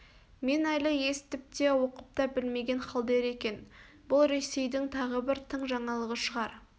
мен әлі есітіп те оқып та білмеген халдер екен бұл ресейдің тағы бір тың жаңалығы шығар